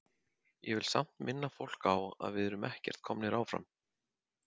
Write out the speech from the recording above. Ég vil samt minna fólk á að við erum ekkert komnir áfram.